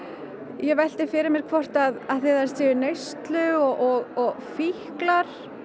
ég velti fyrir mér hvort af því þær séu í neyslu og fíklar